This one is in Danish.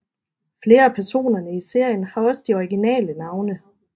Flere af personerne i serien har også de originale navne